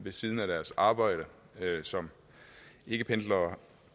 ved siden af deres arbejde som ikkependlere